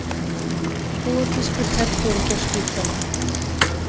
Króatískur herforingi á spítala